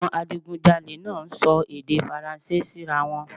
Awọn adigunjalè naa sọ èdè faranse sira wọn